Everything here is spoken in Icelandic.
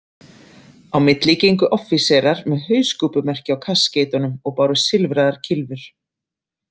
Á milli gengu offíserar með hauskúpumerki á kaskeitunum og báru silfraðar kylfur.